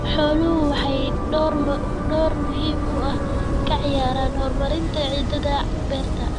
Xooluhu waxay door muhiim ah ka ciyaaraan horumarinta ciidda beerta.